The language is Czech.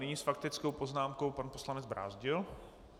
Nyní s faktickou poznámkou pan poslanec Brázdil.